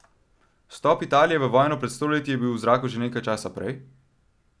Vstop Italije v vojno pred sto leti je bil v zraku že nekaj časa prej?